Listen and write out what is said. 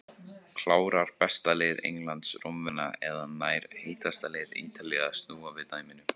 Klárar besta lið Englands Rómverjana eða nær heitasta lið Ítalíu að snúa við dæminu?